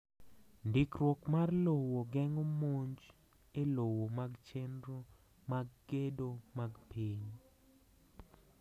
Ndikruok mar lowo geng’o monj e lowo mag chenro mag gedo mag piny.